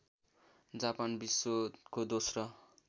Japan विश्वको दोस्रो